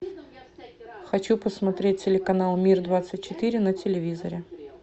хочу посмотреть телеканал мир двадцать четыре на телевизоре